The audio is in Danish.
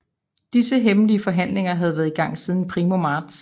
Disse hemmelige forhandlinger havde været i gang siden primo marts